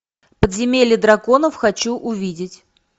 подземелье драконов хочу увидеть